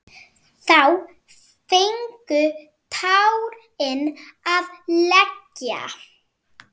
Þá fengu tárin að leka.